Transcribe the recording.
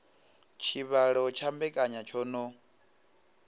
tshivhalo tsha mbekanya tsho no